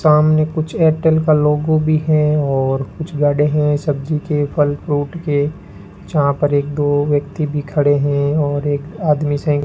सामने कुछ एयरटेल का लोगो भी है और कुछ गाडे हैं सब्जी के फल फ्रूट के जहां पर एक दो व्यक्ति भी खड़े हैं और एक आदमी संग --